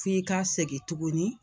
F'i ka segin tuguni.